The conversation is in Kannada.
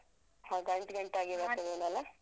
ಹ ಗಂಟ್ ಗಂಟ್ ಆಗಿ ಬರ್ತದೇನೋ ಅಲ?